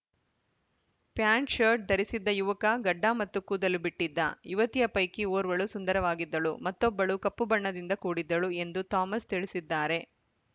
pant shirt ಧರಿಸಿದ್ದ ಯುವಕ ಗಡ್ಡ ಮತ್ತು ಕೂದಲು ಬಿಟ್ಟಿದ್ದ ಯುವತಿಯ ಪೈಕಿ ಓರ್ವಳು ಸುಂದರವಾಗಿದ್ದಳು ಮತ್ತೊಬ್ಬಳು ಕಪ್ಪು ಬಣ್ಣದಿಂದ ಕೂಡಿದ್ದಳು ಎಂದು ಥಾಮಸ್‌ ತಿಳಿಸಿದ್ದಾರೆ